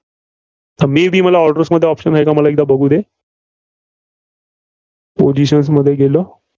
may be मला orders मध्ये option आहे का मला एकदा बघुदे. positions मध्ये गेलो.